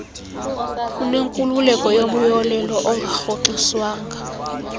unenkululeko yomyolelo ongarhoxiswanga